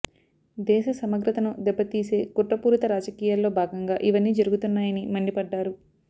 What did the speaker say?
దేశ సమగ్రతను దెబ్బతీసే కుట్రపూరిత రాజకీయాల్లో భాగంగా ఇవన్నీ జరుగుతున్నాయని మండిపడ్డారు